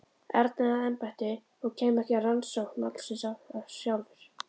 Erni að embætti og kæmi ekki að rannsókn málsins sjálfur.